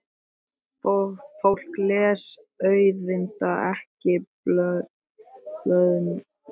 Fólk les auðvitað ekki blöðin hérna.